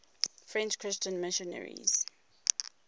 french christian missionaries